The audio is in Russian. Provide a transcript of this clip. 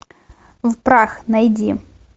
в прах найди